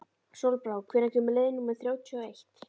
Sólbrá, hvenær kemur leið númer þrjátíu og eitt?